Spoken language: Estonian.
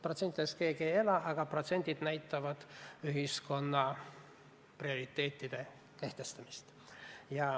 Protsentidest keegi ei ela, aga protsendid näitavad ühiskonna prioriteetide kehtestamist.